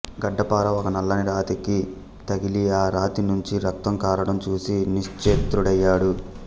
గడ్డపార ఒక నల్లని రాతికి తగిలి ఆ రాతి నుంచి రక్తం కారడం చూసి నిశ్చేత్రుడయ్యాడు